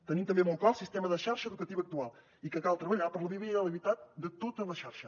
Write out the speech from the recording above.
tenim també molt clar el sistema de xarxa educativa actual i que cal treballar per la viabilitat de tota la xarxa